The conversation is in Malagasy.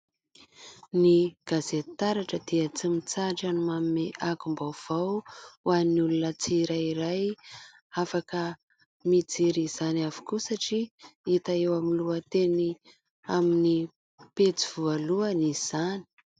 Ny gazety Taratra dia tsy mitsahatra ny manome angom-baovao ho an'ny olona tsirairay. Afaka mijery izany avokoa satria hita eo amin'ny lohateny amin'ny pejy voalohany izany.